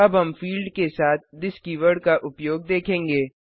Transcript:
अब हम फिल्ड के साथ थिस कीवर्ड का उपयोग देखेंगे